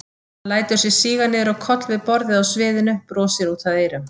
Hann lætur sig síga niður á koll við borðið á sviðinu, brosir út að eyrum.